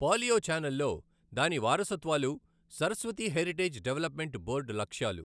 పాలియోఛానల్లో దాని వారసత్వాలు Saraswati heritage development board లక్ష్యాలు.